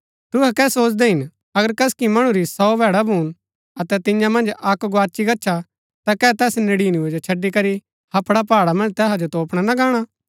तुहै कै सोचदै हिन अगर कसकि मणु री सौ भैड़ा भून अतै तियां मन्ज अक्क गोआची गच्छा ता कै तैस नड़ीनबैं जो छड़ी करी हपड़ा पहाड़ा मन्ज तैहा जो तोपणा ना गाणा